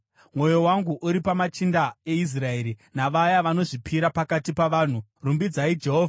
Mwoyo wangu uri pamachinda eIsraeri, navaya vanozvipira pakati pavanhu. Rumbidzai Jehovha!